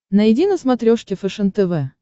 найди на смотрешке фэшен тв